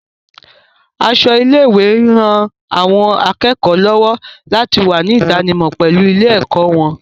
Aṣọ ilé-ìwé ń ran àwọn akẹ́kọ̀ọ́ lọ́wọ́ láti wà ní ìdánimọ̀ pẹ̀lú ilé-ẹ̀kọ́ wọn